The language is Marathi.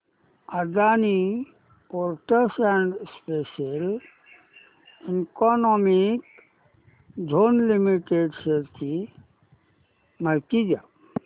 Adani ports and special economic zone limited shares ची माहिती द्या